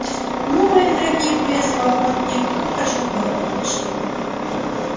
ну мои дорогие приветствовал он их как хорошо что вы обе пришли